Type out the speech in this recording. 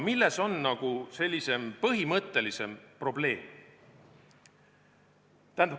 Milles on aga põhimõtteline probleem?